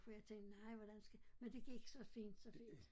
For jeg tænkte nej hvordan skal men det gik så fint så fint